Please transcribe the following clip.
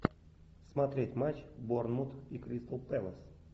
смотреть матч борнмут и кристал пэлас